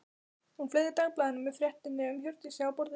Hún fleygði dagblaðinu með fréttinni um Hjördísi á borðið.